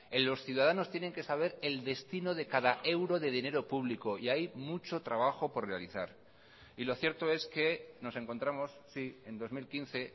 en los ciudadanos tienen que saber el destino de cada euro de dinero público y hay mucho trabajo por realizar y lo cierto es que nos encontramos sí en dos mil quince